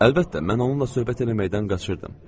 Əlbəttə, mən onunla söhbət eləməkdən qaçırdım.